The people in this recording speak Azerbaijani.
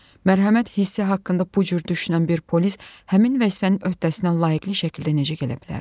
Mərhəmət hissi haqqında bu cür düşünən bir polis həmin vəzifənin öhdəsindən layiqli şəkildə necə gələ bilərdi?